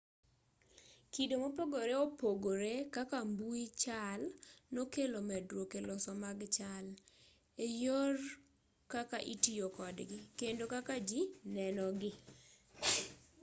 kido mopogoreopogore kaka mbui chal nokelo medruok eloso mag chal eyor kaka itoyo kodgi kendo kaka ji nenogi